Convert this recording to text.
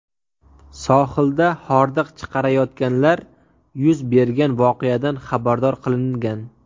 Sohilda hordiq chiqarayotganlar yuz bergan voqeadan xabardor qilingan.